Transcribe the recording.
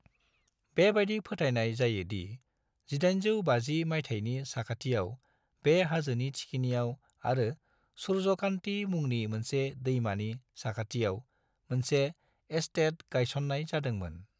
बेबादि फोथायनाय जायो दि 1850 मायथाइनि साखाथियाव बे हाजोनि थिखिनियाव आरो सूर्यकान्ति मुंनि मोनसे दैमानि साखाथियाव मोनसे एस्टेट गायसननाय जादोंमोन।